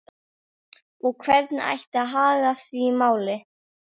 Og hvernig ætti að haga því máli?